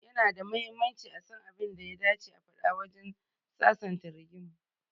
Ya na da mahimmanci a san abin da ya dace a faɗa wajen sasanta rigima.